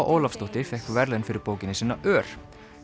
Ólafsdóttir fékk verðlaun fyrir bókina sína ör